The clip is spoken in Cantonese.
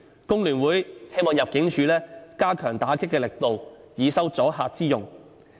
工聯會希望入境處加強打擊力度，以收阻嚇之用。